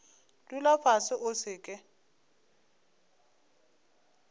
dula fase o se ke